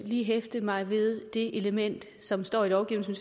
lige hæfte mig ved det element som står i lovgivningen